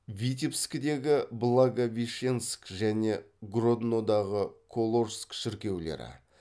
витебскідегі благовещенск және гроднодағы коложск шіркеулері